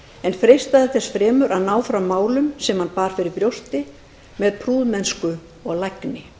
en freistaði þess fremur að ná fram málum sem hann bar fyrir brjósti með prúðmennsku og lagni